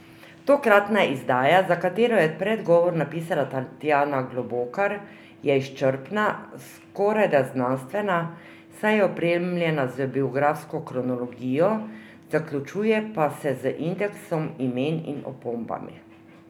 Tokratna izdaja, za katero je predgovor napisala Tatjana Globokar, je izčrpna, skorajda znanstvena, saj je opremljena z biografsko kronologijo, zaključuje pa se z indeksom imen in opombami.